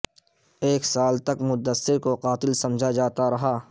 ایک سال تک مدثر کو قاتل سمجھا جاتا رہا